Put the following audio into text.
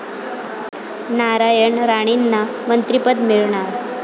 नारायण राणेंना मंत्रिपद मिळणार?